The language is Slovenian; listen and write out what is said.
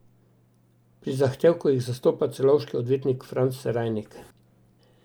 Pri zahtevku jih zastopa celovški odvetnik Franz Serajnik.